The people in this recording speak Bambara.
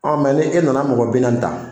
Ɔ mɛ ni e nana mɔgɔ bi naani ta.